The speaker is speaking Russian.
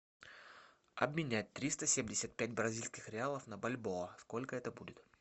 обменять триста семьдесят пять бразильских реалов на бальбоа сколько это будет